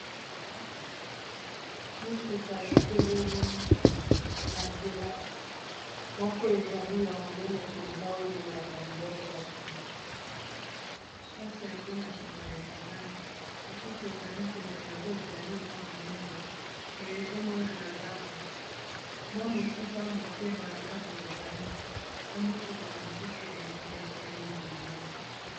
mituka etelemi na nzela moko ezali ya monene mpenza oyo ememaka biloko na nsima mplase yango na nsima ekangami mosusu ezali pene yango ezali mwa monene me ezomona na ndambo mwa mosika moke bandako ezali na mituka mosusu ya moke etelemi pembeni